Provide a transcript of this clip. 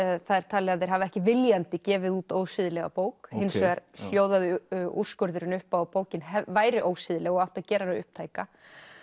það er talið að þeir hafi ekki viljandi gefið út ósiðlega bók hins vegar hljóðaði úrskurðurinn upp á að bókin væri ósiðleg og átti að gera hana upptæka